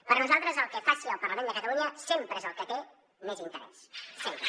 per nosaltres el que faci el parlament de catalunya sempre és el que té més interès sempre